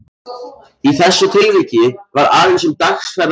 Í þessu tilviki var aðeins um dagsferð að ræða.